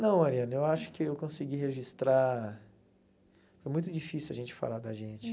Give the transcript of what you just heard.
Não, Mariana, eu acho que eu consegui registrar... É muito difícil a gente falar da gente.